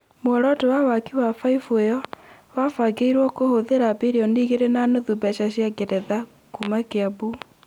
mũoroto wa waki wa baibũ ĩyo, wabangĩirwo kũhũthĩra birioni igĩrĩ na nuthu mbeca cia rũraya, kuma Kiambu